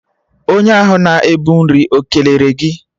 Onye ahụ na-ebu nri ekelere gị?